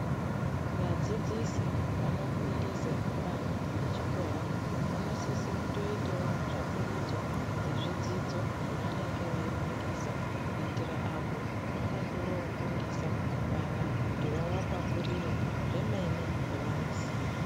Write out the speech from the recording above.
Vadzidzisi vanofundise vana vechikora vanosise kutoitewo tsvakurudzo dzezvidzidzo zvavanenge veifundisa kuitira apo pavanenge vofundisa vana kuti vavapakurure zvemene zvevanoziya.